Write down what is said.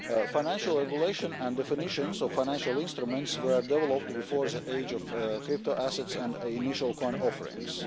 Financial regulation and definitions of financial instruments were developed before the age of crypto assets and initial coin offerings.